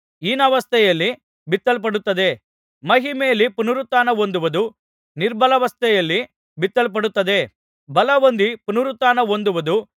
ಹೀನಾವಸ್ಥೆಯಲ್ಲಿ ಬಿತ್ತಲ್ಪಡುತ್ತದೆ ಮಹಿಮೆಯಲ್ಲಿ ಪುನರುತ್ಥಾನಹೊಂದುವುದು ನಿರ್ಬಲಾವಸ್ಥೆಯಲ್ಲಿ ಬಿತ್ತಲ್ಪಡುತ್ತದೆ ಬಲಹೊಂದಿ ಪುನರುತ್ಥಾನಹೊಂದುವುದು